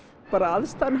aðstaðan hefur